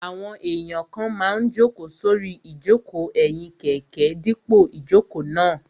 Àwọn èèyàn kan máa n jòkó sórí ìjòkó ẹ̀yìn kẹ̀kẹ́ dípò ìjòkó náà